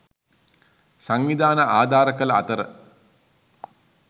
සංවිධාන ආධාර කළ අතර